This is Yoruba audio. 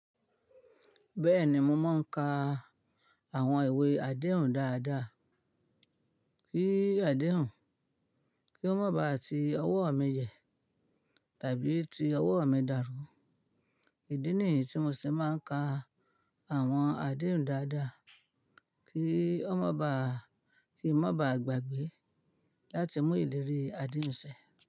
Bẹ́ẹ̀ni, mo máa ń ka àwọn ìwé àdéhùn dáadáa, kí àdéhùn, kí ó má ba à ti ọwọ́ mi yẹ tàbí ti ọwọ́ mi dàrú. Ìdí nìyí tí mo ṣe máa ń ka àwọn àdéhùn dáadáa, kí ó má ba à, kí ó má ba à gbàgbé láti mú ìlérí àdéhùn ṣẹ.